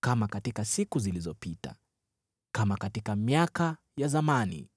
kama katika siku zilizopita, kama katika miaka ya zamani.